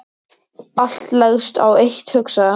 Allt leggst á eitt hugsaði hann.